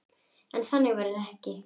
En þannig verður það ekki.